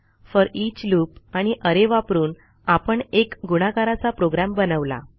foreach loop आणि array वापरून आपण एक गुणाकाराचा प्रोग्रॅम बनवला